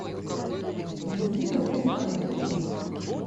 даниила николаевича